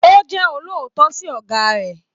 O jẹ olóòótọ sí ọgá rẹ.